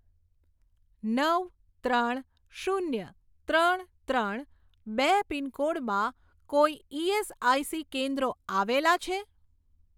નવ ત્રણ શૂન્ય ત્રણ ત્રણ બે પિનકોડમાં કોઈ ઇએસઆઇસી કેન્દ્રો આવેલાં છે?